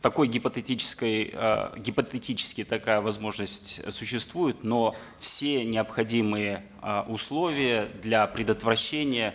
такой гипотетической э гипотетически такая возможность существует но все необходимые э условия для предотвращения